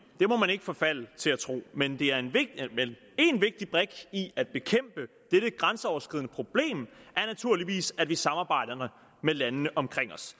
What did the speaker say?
det må man ikke forfalde til at tro men en vigtig brik i at bekæmpe dette grænseoverskridende problem er naturligvis at vi samarbejder med landene omkring os